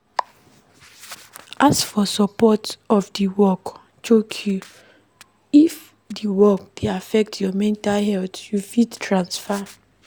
Ask for support if di work choke you, if di work dey affect your mental health you fit transfer